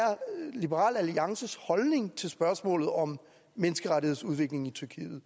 liberal alliances holdning til spørgsmålet om menneskerettighedsudviklingen i tyrkiet